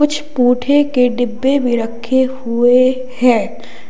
कुछ पुठे के डिब्बे भी रखे हुए हैं।